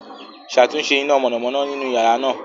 Ṣatunṣe ina mọnamọna ninu yara naa